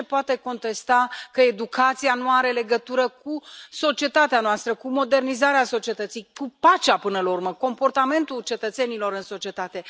Cine poate contesta că educația nu are legătură cu societatea noastră, cu modernizarea societății, cu pacea, până la urmă, cu comportamentul cetățenilor în societate?